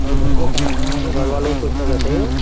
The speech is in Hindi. और घर के सामने यहाँ के घर वालों को कुछ ना कहते।